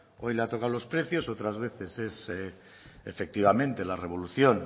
hoy le ha tocado los precios otras veces es efectivamente la revolución